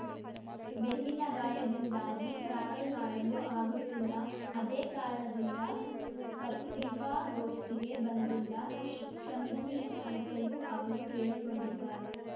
ಬೆನ್ನಿನ ಗಾಯದಿಂದಾಗಿ ಟ್ರಾವೆಲ್‌ ಮಾಡಲು ಆಗುತ್ತಿಲ್ಲ ಅದೇ ಕಾರಣದಿಂದ ಪತ್ರಿಕಾಗೋಷ್ಠಿಗೆ ಬಂದಿಲ್ಲ ಕ್ಷಮಿಸಿ ಅಂತಲೂ ಅವರು ಕೇಳಿಕೊಂಡಿದ್ದಾರೆ